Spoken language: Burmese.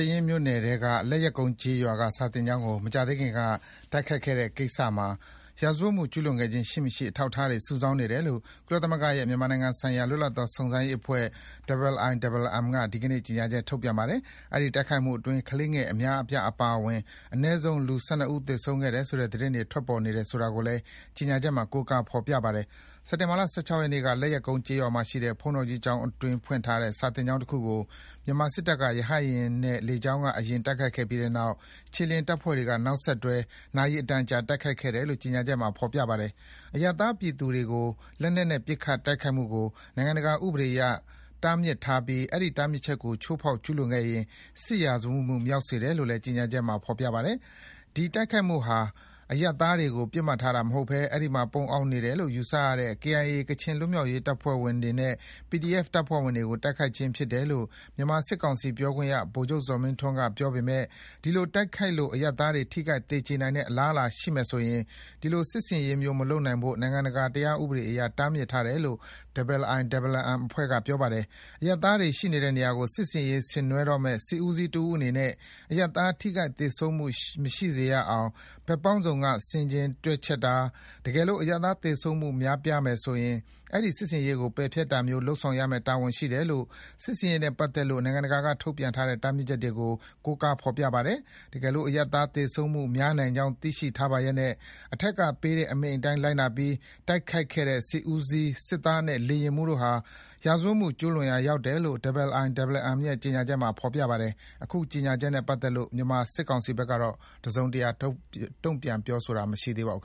င်းမြို့နယ်ထဲက လက်ယက်ကုန်းကျေးရွာက စာသင်ကျောင်းကို မကြာသေးခင်က တိုက်ခိုက်ခဲ့တဲ့ကိစ္စမှာ ရာဇဝတ်မှုကျူးလွန်ခဲ့ခြင်းရှိမရှိ အထောက်အထားတွေ စုဆောင်းနေတယ်လို့ ကုလသမဂ္ဂရဲ့ မြန်မာနိုင်ငံဆိုင်ရာ လွတ်လပ်သောစုံစမ်းရေးအဖွဲ့ IIMM က ဒီကနေ့ ကြေညာချက် ထုတ်ပြန်ပါတယ်။ အဲဒီတိုက်ခိုက်မှုအတွင်း ကလေးငယ်အများအပြားအပါအဝင် အနည်းဆုံး လူ ၁၂ ဦး သေဆုံးခဲ့တယ်ဆိုတဲ့သတင်းတွေ ထွက်ပေါ်နေတယ်ဆိုတာကိုလည်း ကြေညာချက်မှာ ကိုးကား ဖော်ပြပါတယ်။ စက်တင်ဘာလ ၁၆ ရက်နေ့က လက်ယက်ကုန်းကျေးရွာမှာရှိတဲ့ ဘုန်းတော်ကြီးကျောင်းအတွင်း ဖွင့်ထားတဲ့ စာသင်ကျောင်းတခုကို မြန်မာစစ်တပ်က ရဟတ်ယာဉ်နဲ့ လေကြောင်းက အရင် တိုက်ခိုက်ခဲ့ပြီးတဲ့နောက် ခြေလျင်တပ်ဖွဲ့တွေက နောက်ဆက်တွဲ နာရီအတန်ကြာ တိုက်ခိုက်ခဲ့တယ်လို့ ကြေညာချက်မှာ ဖော်ပြပါတယ်။ အရပ်သားပြည်သူတွေအပေါ် လက်နက်နဲ့ပစ်ခတ်တိုက်ခိုက်မှုကို နိုင်ငံတကာဥပဒေအရ တားမြစ်ထားပြီး အဲဒီ တားမြစ်ချက်ကို ချိုးဖောက်ကျူးလွန်ခဲ့ရင် စစ်ရာဇဝတ်မှု မြောက်စေတယ်လို့လည်း ကြေညာချက်မှာ ဖော်ပြပါတယ်။ ဒီတိုက်ခိုက်မှုဟာ အရပ်သားတွေကို ပစ်မှတ်ထားတာမဟုတ်ဘဲ အဲဒီမှာ ပုန်းအောင်းနေတယ်လို့ ယူဆရတဲ့ KIA ကချင်လွတ်မြောက်ရေးတပ်ဖွဲ့ဝင်တွေနဲ့ PDF တပ်ဖွဲ့တွေကို တိုက်ခိုက်ခြင်းဖြစ်တယ်လို့ မြန်မာစစ်ကောင်စီပြောခွင့်ရ ဗိုလ်ချုပ်ဇော်မင်းထွန်းက ပြောပေမယ့် ဒီလိုတိုက်ခိုက်လို့ အရပ်သားတွေ ထိခိုက် သေကြေနိုင်တဲ့အလားအလာရှိမယ်ဆိုရင် ဒီလို စစ်ဆင်ရေးမျိုး မလုပ်ဖို့ နိုင်ငံတကာဥပဒေအရ တားမြစ်ထားတယ်လို့ IIMM အဖွဲ့က ပြောပါတယ်။ အရပ်သားတွေရှိတဲ့နေရာကို စစ်ဆင်ရေးဆင်နွဲတော့မယ့် စစ်ဦးစီးတဦးအနေနဲ့ အရပ်သား ထိခိုက် သေဆုံးမှုမရှိစေရအောင် ဘက်ပေါင်းစုံက ဆင်ခြင်တွက်ချက်တာ၊ တကယ်လို့ အရပ်သားသေဆုံးမှု များပြားနိုင်မယ်ဆိုရင် အဲဒီ စစ်ဆင်ရေးကို ပယ်ဖျက်တာမျိုး လုပ်ဆောင်ရမယ့် တာဝန်ရှိတယ်လို့ စစ်ဆင်ရေးနဲ့ပတ်သက်လို့ နိုင်ငံတကာကထုတ်ပြန်ထားတဲ့တားမြစ်ချက်တွေကို ကိုးကားဖော်ပြထားပါတယ်။ တကယ်လို့ အရပ်သားသေဆုံးမှုများနိုင်ကြောင်း သိရှိထားပါလျက်နဲ့ အထက်ကပေးတဲ့အမိန့်အတိုင်း လိုက်နာပြီး တိုက်ခိုက်တဲ့စစ်ဦးစီးမှူး၊ စစ်သားနဲ့လေယာဉ်မှူးတို့ဟာ ရာဇဝတ်မှုကျူးလွန်ရာရောက်တယ် လို့ IIMM ရဲ့ ကြေညာချက်မှာ ဖော်ပြထားပါတယ်။ အခုကြေညာချက်နဲ့ ပတ်သက်လို့ မြန်မာစစ်ကောင်စီဘက်က တစုံတရာ တုံ့ပြန်တာတော့ မရှိသေးပါဘူး